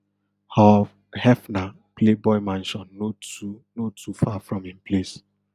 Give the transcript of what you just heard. hugh hefner playboy mansion no too no too far from im place